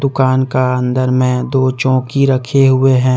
दुकान का अंदर में दो चौकी रखे हुए है।